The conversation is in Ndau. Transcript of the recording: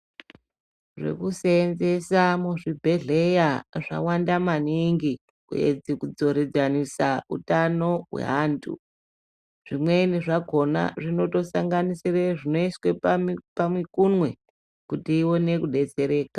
Zvekusenzesa muzvibhedheya zvawanda maningi kuedze kudzoredzanisa utano hweantu. Zvimweni zvakona zvinotosanganisire zvinoiswe pamukunwe kuti ione kubetsereka.